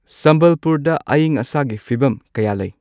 ꯁꯝꯕꯥꯜꯄꯨꯔꯗ ꯑꯏꯪ ꯑꯁꯥꯒꯤ ꯐꯤꯕꯝ ꯀꯌꯥ ꯂꯩ